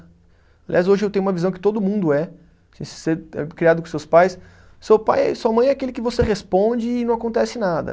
Aliás, hoje eu tenho uma visão que todo mundo é. Se você é criado com seus pais, seu pai, sua mãe é aquele que você responde e não acontece nada.